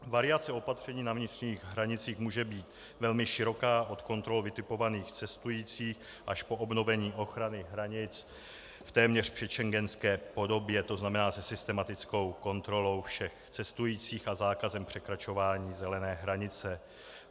Variace opatření na vnitřních hranicích může být velmi široká od kontrol vytipovaných cestujících až po obnovení ochrany hranic v téměř předschengenské podobě, to znamená se systematickou kontrolou všech cestujících a zákazem překračování zelené hranice.